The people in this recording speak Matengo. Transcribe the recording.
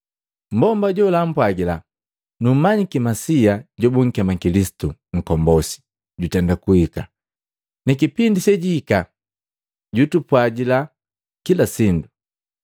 Mbomba jola ampwagila, “Numanyiki Masia jobukema Kilisitu Nkombosi, jutenda kuhika, nikipindi sejihika jutupwajila kila sindu.”